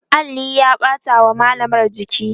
alli ya ɓata wa mallamar jiki